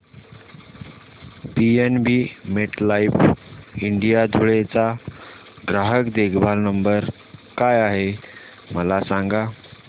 PNB MetLife India Dhule चा ग्राहक देखभाल नंबर काय आहे मला सांगा